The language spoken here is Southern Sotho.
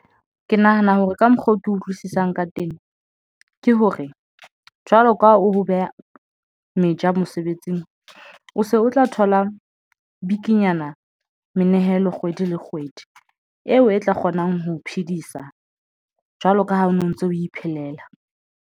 Ke nahana hore ka mokgwa oo ke utlwisisang ka teng ke hore, jwalo ka o beha meja mosebetsing, o se o tla thola bikinyana menehelo kgwedi le kgwedi eo e tla kgonang ho phedisa jwalo ka ha o no ntso o iphelela.